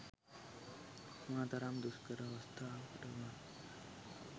මොන තරම් දුෂ්කර අවස්ථාවක වුණත්